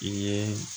I ye